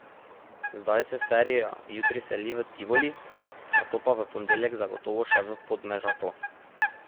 Zdaj se serija jutri seli v Tivoli, nato pa v ponedeljek zagotovo še v Podmežaklo.